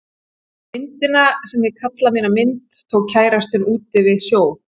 Myndina sem ég kalla mína mynd tók kærastinn út við sjó.